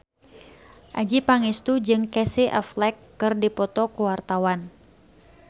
Adjie Pangestu jeung Casey Affleck keur dipoto ku wartawan